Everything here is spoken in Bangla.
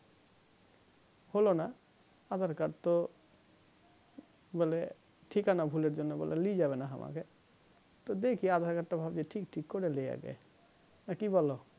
হলো না aadhar card তো বলে ঠিকানা ভুলের জন্য বলে লিয়ে যাবে না হামাকে তো দেখি aadhar card তা ভাবছি ঠিক টিক করে নিয় আগে না কি বোলো